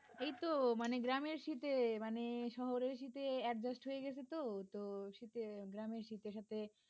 এইতো মানে গ্রামের শীতে মানে শহরের শীতে adjust হয়ে গেছে তো তো শীত এ গ্রামের শীতের সাথে